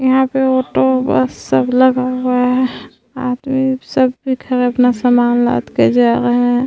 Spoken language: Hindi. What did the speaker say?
यहाँ पे ऑटो बस सब लगा हुआ है। अपना सामान लाद कर जा रहा है।